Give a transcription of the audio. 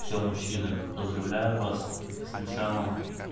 всё мужчины поздравляю вас с началом